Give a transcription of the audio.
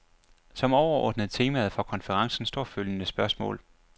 Som overordnede temaer for konferencen står følgende spørgsmål.